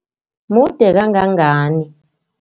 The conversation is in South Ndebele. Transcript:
Mude kangangani?